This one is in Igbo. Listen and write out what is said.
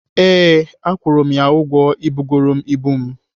Ee, akwụru m ya ụgwọ ibugoro m ibu m.